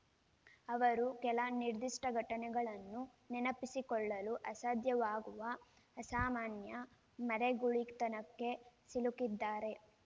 ಅವರು ಕೆಲ ನಿರ್ದಿಷ್ಟಘಟನೆಗಳನ್ನು ನೆನಪಿಸಿಕೊಳ್ಳಲು ಅಸಾಧ್ಯವಾಗುವ ಅಸಾಮಾನ್ಯ ಮರೆಗುಳಿತನಕ್ಕೆ ಸಿಲುಕಿದ್ದಾರೆ